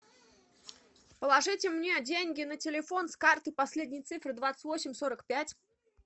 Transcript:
положите мне деньги на телефон с карты последние цифры двадцать восемь сорок пять